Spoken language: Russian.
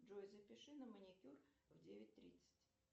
джой запиши на маникюр в девять тридцать